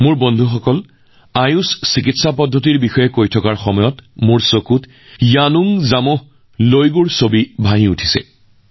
মোৰ বন্ধুসকল যেতিয়া মই আয়ুষ চিকিৎসা পদ্ধতিৰ কথাৰ কথা কওঁ তেতিয়া মোৰ চকুৰ সন্মুখত য়ানুং জামোহ লাগোYanung জামঃ Lagoৰ ছবিখনো আহি আছে